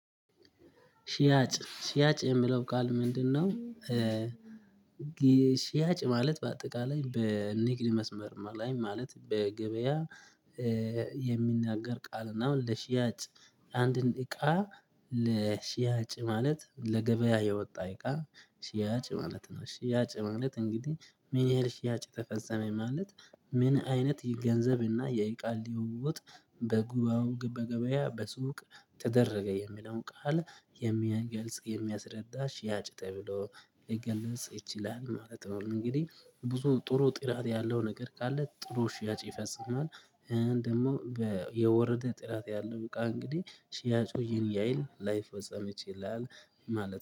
ሺያጭ ሺያጭ የሚለው ቃል ምንድነው? ሺያጭ ማለት በአጠቃላይ በንግድ መስመር ላይ ማለት በገበያ የሚነገር ቃል እና ለሽያጭ አንድን እቃ ለሽያጭ ማለት ለገበያ የወጣ እቃ ሽያጭ ማለት ነው ሽያጭ ማለት እንግዲህ ምን ያህል ሽያጭ ተፈጸመ ማለት ምን አይነት ይገንዘብና እና የእቃ ልውውጥ በጉባኤው በገበያ በሱቅ ተደረገ የሚለው ቃል የሚገልጽ የሚያስረዳ ሽያጭ ተብሎ ሊገልጽ ይችላል ማለት ነው እንግዲህ ብዙ ጥሩ ጥራት ያለው ነገር ካለ ጥሩ ሽያጭ ይፈጽማል ደግሞ የወረደ ጥራት ያለው በቃ እንግዲህ ሲያጮህ ይሄን ላይፈጸም ይችላል ማለት ነው።